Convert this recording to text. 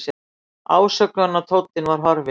Ásökunartónninn var horfinn.